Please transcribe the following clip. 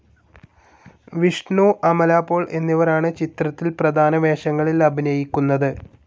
വിഷ്ണു, അമല പോൾ എന്നിവരാണ് ചിത്രത്തിൽ പ്രധാന വേഷങ്ങളിൽ അഭിനയിക്കുന്നത്.